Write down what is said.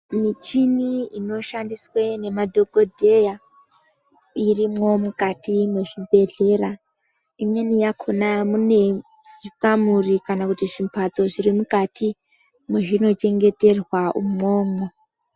Michini inoshandiswe nemadhokodheya irimwo mukati mwezvibhehlera, imweni yakhona mune zvikamuri kana kuti zvimhatso zviri mukati mwezvi nochengeterwa imwomwo.